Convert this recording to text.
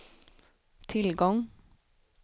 tillgång